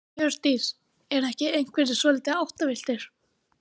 Hjördís: Eru ekki einhverjir svolítið áttavilltir?